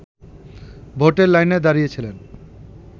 ভোটের লাইনে দাঁড়িয়েছিলেন